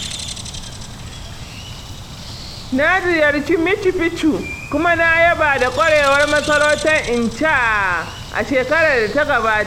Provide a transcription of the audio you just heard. Na ziyarci Machu Picchu kuma na yaba da ƙwarewar masarautar Inca a shekarar da ta gabata.